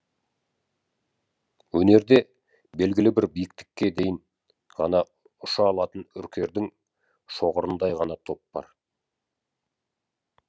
өнерде белгілі бір биіктікке дейін ғана ұша алатын үркердің шоғырындай ғана топ бар